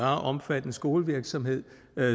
omfattende skolevirksomhed